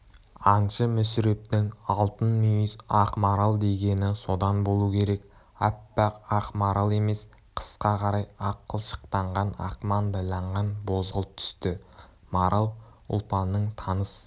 аңшы мүсірептің алтын мүйіз ақ марал дегені содан болу керек аппақ ақ марал емес қысқа қарай ақ қылшықтанған ақ маңдайланған бозғылт түсті марал ұлпанның таныс